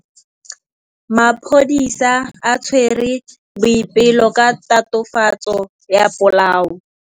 Maphodisa a tshwere Boipelo ka tatofatsô ya polaô.